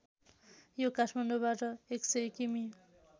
यो काठमाडौँबाट १०० किमि